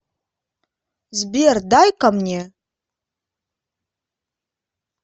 сбер дай ка мне